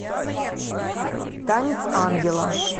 танец ангела